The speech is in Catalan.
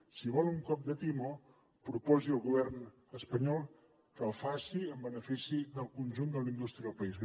si vol un cop de timó proposi al govern espanyol que el faci en benefici del conjunt de la indústria del país